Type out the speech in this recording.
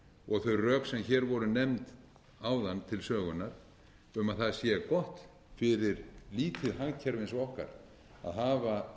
og þau rök sem hér voru nefnd áðan til sögunnar um að gott sé fyrir lítið hagkerfi eins og okkar að hafa